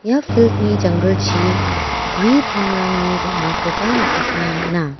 ia field-ni janggilchi gue pangrangni bang·akoba nikatna man·a.